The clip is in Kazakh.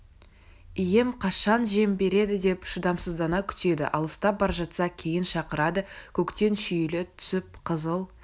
ием қашан жем береді деп шыдамсыздана күтеді алыстап бара жатса кейін шақырады көктен шүйіле түсіп қызыл